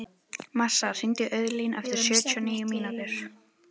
Marsa, hringdu í Auðlín eftir sjötíu og níu mínútur.